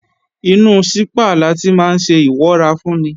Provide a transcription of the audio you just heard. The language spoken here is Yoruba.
Inú sípà láti máa ńṣe ìwọ́rafúnni